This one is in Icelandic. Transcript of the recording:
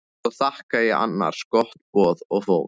Svo þakkaði ég annars gott boð og fór.